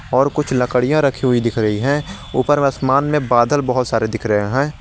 और कुछ लड़कियां रखी हुई दिख रही है ऊपर आसमान में बादल बहुत सारे दिख रहे हैं।